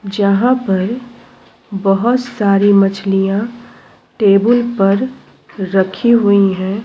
जहाँ पर बहोत (बहुत) सारे मछलिया टेबुल पर रखी हुई है।